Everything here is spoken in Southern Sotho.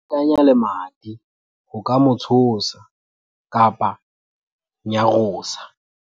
ho batanya lemati ho ka mo tshosa-nyarosa